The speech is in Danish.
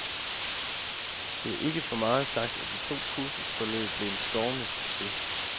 Det er ikke for meget sagt, at de to kursusforløb blev en stormende succes.